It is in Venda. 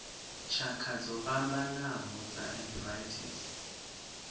tshakha dzo fhambanaho dza arthritis